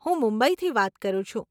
હું મુંબઈથી વાત કરું છું.